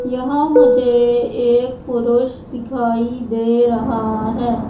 यहां मुझे एक पुरुष दिखाई दे रहा हैं।